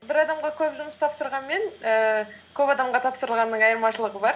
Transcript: бір адамға көп жұмыс тапсырған мен ііі көп адамға тапсырылғанның айырмашылығы бар